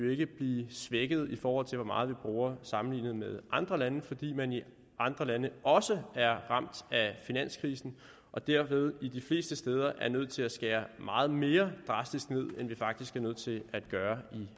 jo ikke blive svækket i forhold til hvor meget vi bruger sammenlignet med andre lande fordi man i andre lande også er ramt af finanskrisen og derved de fleste steder er nødt til at skære meget mere drastisk ned end vi faktisk er nødt til at gøre